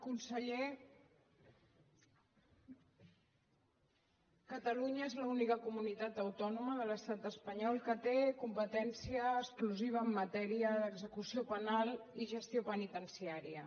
conseller catalunya és l’única comunitat autònoma de l’estat espanyol que té competència exclusiva en matèria d’execució penal i gestió penitenciària